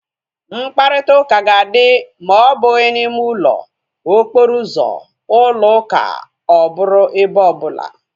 Mkparịta ụka ga-adị ma ọ bụghị na ime ụlọ, okporo ụzọ, ụlọ ụka ọ bụrụ ebe ọ bụla